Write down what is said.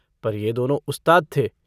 पर यह दोनों उस्ताद थे।